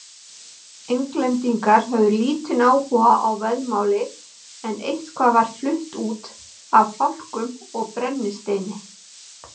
Englendingar höfðu lítinn áhuga á vaðmáli en eitthvað var flutt út af fálkum og brennisteini.